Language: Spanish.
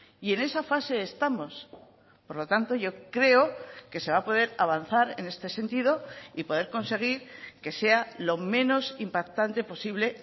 y en esa fase estamos por lo tanto yo creo que se va a poder avanzar en este sentido y poder conseguir que sea lo menos impactante posible